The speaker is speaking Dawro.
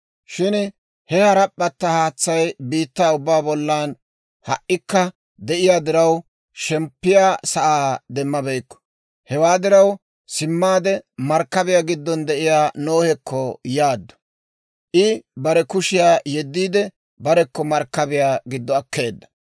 shin he harap'p'atta haatsay biittaa ubbaa bollan ha"ikka de'iyaa diraw, shemppiyaa sa'aa demmabeykku. Hewaa diraw simmaade, markkabiyaa giddon de'iyaa Nohekko yaaddu; I bare kushiyaa yeddiide, barekko markkabiyaa giddo akkeedda.